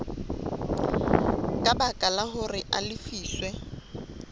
ka baka hore a lefiswe